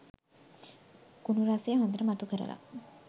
කුනු රසය හොඳට මතු කරලා..